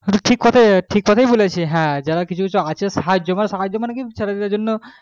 এটাই ঠিক কথাই বলেছিস যারা মানে কিছু কিছু আছে সাহায্য মানে